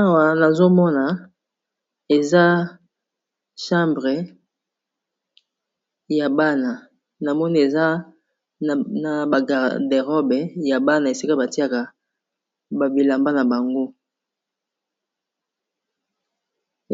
awa nazomona eza chambre ya bana na moni eza na bacaderobe ya bana esika batiaka babilamba na bango